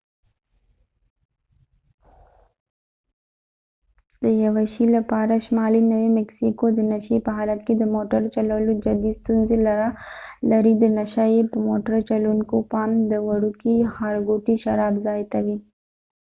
د یوه شي لپاره شمالی نوي مکسیکو د نشي په حالت کې د موټړ چلولو جدي ستونزی لري د نشه یې موټر چلوونکو پام د وروکې ښارګوټی شراب ځای ته وي